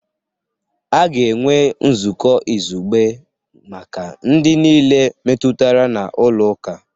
A ga-enwe nzukọ izugbe maka ndị niile metụtara na ụlọ akụ